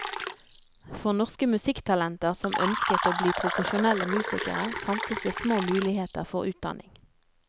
For norske musikktalenter som ønsket å bli profesjonelle musikere, fantes det små muligheter for utdanning.